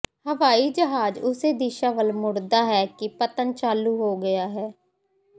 ਹਵਾਈ ਜਹਾਜ਼ ਉਸੇ ਦਿਸ਼ਾ ਵੱਲ ਮੁੜਦਾ ਹੈ ਕਿ ਪਤਨ ਚਾਲੂ ਹੋ ਗਿਆ ਹੈ